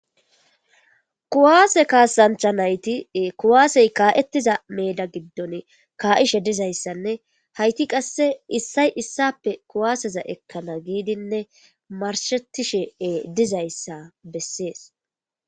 kuwaase kaasancha nayti kuwaasey kaa7ettiza meda giddon kaa7ishe dizayssanne hayti qasse issay issappe kuwaaseza ekkana giidinne marshetishee dizayssa bessees